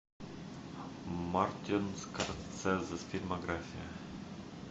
мартин скорсезе фильмография